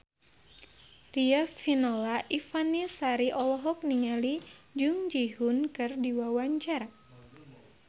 Riafinola Ifani Sari olohok ningali Jung Ji Hoon keur diwawancara